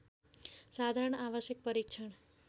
साधारण आवश्यक परीक्षण